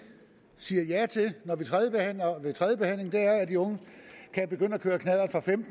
siger ja til ved tredjebehandlingen er at de unge kan begynde at køre knallert